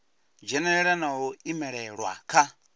dzhenelela na u imelelwa kha